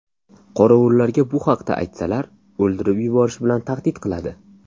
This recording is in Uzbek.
Qorovullarga bu haqda aytsalar, o‘ldirib yuborish bilan tahdid qiladi.